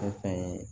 O fɛn ye